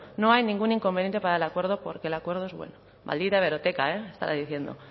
no hay ningún inconveniente para el acuerdo porque el acuerdo es bueno maldita hemeroteca eh estará diciendo